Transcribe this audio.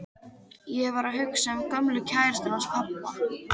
Ég var að hugsa um gömlu kærustuna hans pabba.